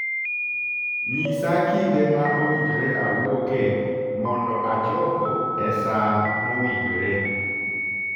nyisa kinde ma owinjore awuoke mondo achopo e saa mowinjore